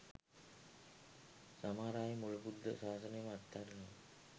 සමහර අය මුළු බුද්ධ ශාසනයම අත්හරිනවා.